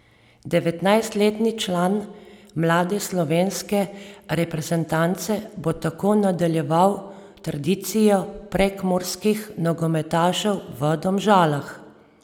Devetnajstletni član mlade slovenske reprezentance bo tako nadaljeval tradicijo prekmurskih nogometašev v Domžalah.